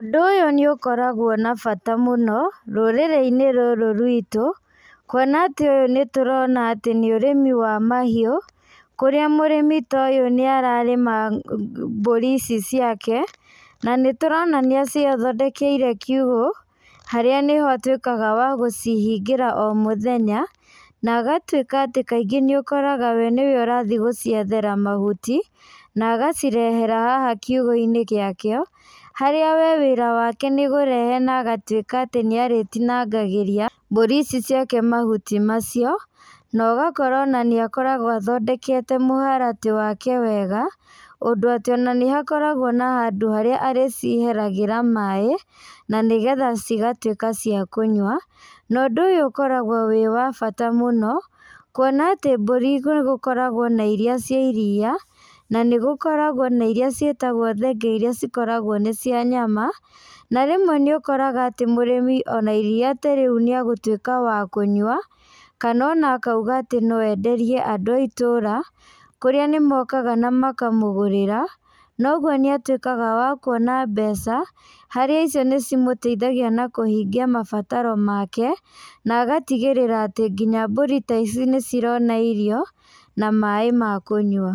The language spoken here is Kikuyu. Ũndũ ũyũ nĩ ũkoragwo na bata mũno, rũrĩrĩ-inĩ rũrũ rwitũ, kuona atĩ ũyũ nĩ tũrona atĩ nĩ ũrĩmi wa mahiũ, kũrĩa mũrĩmi ta ũyũ nĩ ararĩma mbũri ici ciake, na nĩ tũrona nĩ acithondekeire kiũgo, harĩa nĩho atuĩkaga wa gũcihingĩra o mũthenya, na agatuĩka atĩ kaingĩ nĩ ũkoraga we nĩwe ũrathi gũciethera mahuti, na agacirehera haha kiũgo-inĩ gĩa kĩo, harĩa we wĩra wake nĩ kũrehe na agatuĩka atĩ nĩ arĩtinangagĩria mbũri ici ciake mahuti macio, na ũgakora ona nĩ akoragwo athondekete mũharatĩ wake wega, ũndũ atĩ ona nĩ hakoragwo na handũ harĩa arĩciheragĩra maĩ, na nĩgetha cigatuĩka cia kũnyua. Na ũndũ ũyũ ũkoragwo wĩ wa bata mũno, kuona atĩ mbũri nĩ gũkoragwo na irĩa ci iriia, na nĩ gũkoragwo na irĩa ciĩtagwo thenge irĩa cikoragwo nĩ cia nyama, na rĩmwe nĩ ũkoraga atĩ mũrĩmi ona iriia ta rĩu nĩ agũtuĩka wa kũnyua, kana ona akauga atĩ no enderie andũ a itũũra, kũrĩa nĩ mokaga na makamũgũrĩra, na ũguo nĩ atuĩkaga wa kuona mbeca, harĩa icio nĩ cimũteithagia na kũhingia mabataro make, na agatigĩrĩra atĩ nginya mbũri ta ici nĩ cirona irio, na maĩ ma kũnyua.